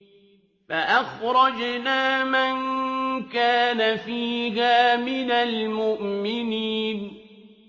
فَأَخْرَجْنَا مَن كَانَ فِيهَا مِنَ الْمُؤْمِنِينَ